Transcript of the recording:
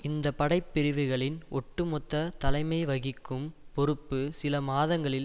இந்த படைப்பிரிவுகளின் ஒட்டு மொத்த தலைமைவகிக்கும் பொறுப்பு சில மாதங்களில்